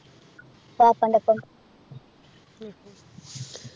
വാപ്പാൻ്റെ ഒപ്പം